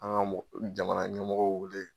An ka mɔgɔw jamana ɲɛmɔgɔ weele.